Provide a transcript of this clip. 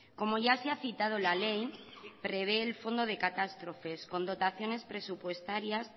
como ya se ha citado la ley prevé el fondo de catástrofes con dotaciones presupuestarias